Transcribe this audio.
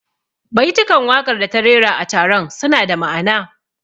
Baitukan waƙar da ta rera a taron suna da ma'ana